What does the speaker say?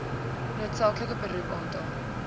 noodsaaklike beroep aantal